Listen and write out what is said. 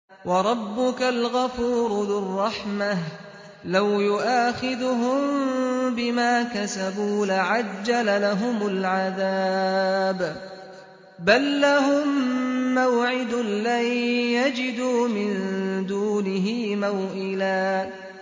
وَرَبُّكَ الْغَفُورُ ذُو الرَّحْمَةِ ۖ لَوْ يُؤَاخِذُهُم بِمَا كَسَبُوا لَعَجَّلَ لَهُمُ الْعَذَابَ ۚ بَل لَّهُم مَّوْعِدٌ لَّن يَجِدُوا مِن دُونِهِ مَوْئِلًا